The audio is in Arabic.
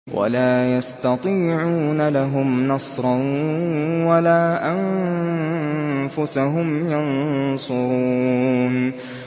وَلَا يَسْتَطِيعُونَ لَهُمْ نَصْرًا وَلَا أَنفُسَهُمْ يَنصُرُونَ